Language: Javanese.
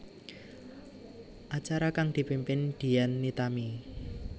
Acara kang dipimpin Dian Nitami